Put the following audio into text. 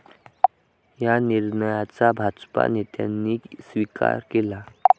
या निर्णयाचा भाजप नेत्यांनी स्विकार केला.